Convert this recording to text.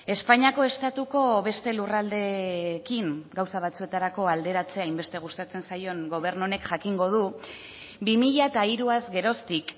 espainiako estatuko beste lurraldeekin gauza batzuetarako alderatzea hainbeste gustatzen zaion gobernu honek jakingo du bi mila hiruaz geroztik